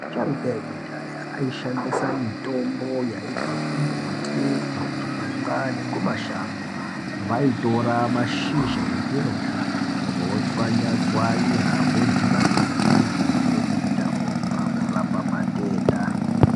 Asharuka ekudhaya, aishandisa mitombo yaibva kumbuti, kuzvirimwa nekumashango. Vaitora mashizha ezvirozvo, votswanya tswanya vodhibanisa nemvura vodita vomwa kurapa matenda.